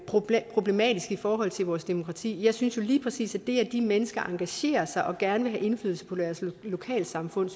problematisk i forhold til vores demokrati jeg synes jo lige præcis at det at de mennesker engagerer sig og gerne vil have indflydelse på deres lokalsamfund